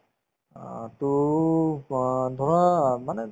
অ, to অ ধৰা মানে